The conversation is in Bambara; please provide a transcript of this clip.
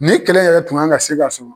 Ne kɛlɛ yɛrɛ tun ŋan ka se ka suru